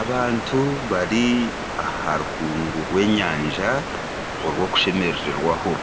Abantu bari aha rukungu rw'enyanja orw'okushemerererwaho.